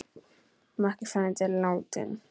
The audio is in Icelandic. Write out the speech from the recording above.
Makki frændi er látinn.